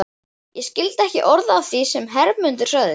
Ég skildi ekki orð af því sem Hermundur sagði.